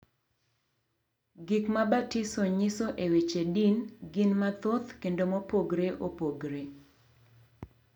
Gik ma batiso nyiso e weche din gin mathoth kendo mopogore opogore.